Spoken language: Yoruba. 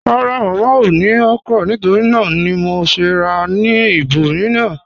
Rárá, Mámá ò ní okra nítorí nàà ni mò ṣè rà ní ìbòmíìran.